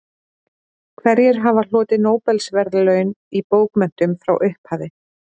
Hverjir hafa hlotið Nóbelsverðlaun í bókmenntum frá upphafi?